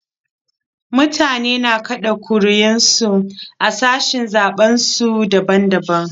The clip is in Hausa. Mutane na kaɗa ƙuri'un su a sashin zaɓen su daban daban.